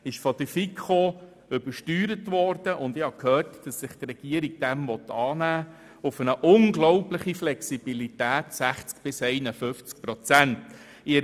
Der Antrag wurde von der FiKo übersteuert, und ich habe gehört, dass die Regierung diesen Vorschlag annehmen will mit einer Anpassung zu einer unglaublichen Flexibilität von 60 bis 51 Prozent!